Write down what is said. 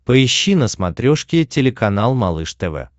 поищи на смотрешке телеканал малыш тв